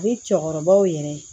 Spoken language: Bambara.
Ni cɛkɔrɔbaw yɛrɛ